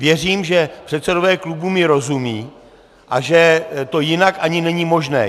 Věřím, že předsedové klubů mi rozumí a že to jinak ani není možné.